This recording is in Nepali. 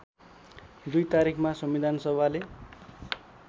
२ तारिखमा संविधानसभाले